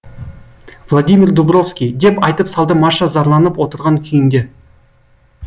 владимир дубровский деп айтып салды маша зарланып отырған күйінде